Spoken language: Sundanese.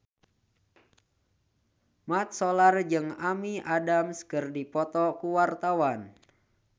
Mat Solar jeung Amy Adams keur dipoto ku wartawan